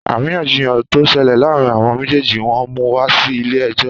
Àríyànjiyàn to ṣẹlẹ̀ láàárín àwọn méjèjì wọn mú wa Si ilé ẹjọ́